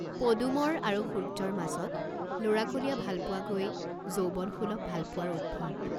পদুমৰ আৰু সূৰ্য্যৰ মাজত ল'ৰাকলীয়া ভালপোৱা গৈ যৌৱনসুলভ ভালপোৱাৰ উদ্ভৱ।